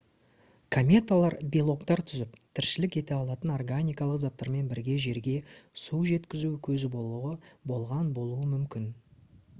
кометалар белоктар түзіп тіршілік ете алатын органикалық заттармен бірге жерге су жеткізу көзі болған болуы мүмкін